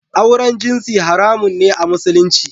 Auren jinsi haramun ne a Musulunci